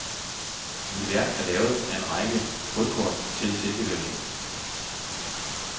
Mit værk er lavet af en række hulkort til silkevævning.